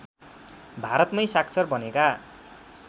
भारतमै साक्षर बनेका